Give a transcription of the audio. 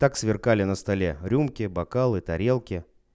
так сверкали на столе рюмки бокалы тарелки